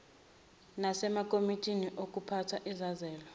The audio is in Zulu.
nasemakomitini okuphatha izizalo